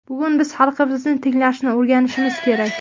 Bugun biz xalqimizni tinglashni o‘rganishimiz kerak.